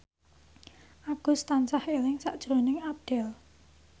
Agus tansah eling sakjroning Abdel